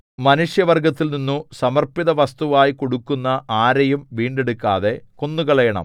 മനുഷ്യവർഗ്ഗത്തിൽനിന്നു സമർപ്പിതവസ്തുവായി കൊടുക്കുന്ന ആരെയും വീണ്ടെടുക്കാതെ കൊന്നുകളയണം